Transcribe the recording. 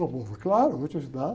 O, claro, vou te ajudar.